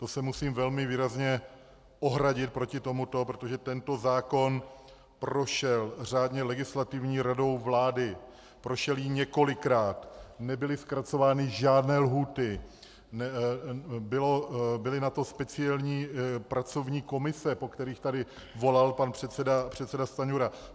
To se musím velmi výrazně ohradit proti tomuto, protože tento zákon prošel řádně Legislativní radou vlády, prošel jí několikrát, nebyly zkracovány žádné lhůty, byly na to speciální pracovní komise, po kterých tady volal pan předseda Stanjura.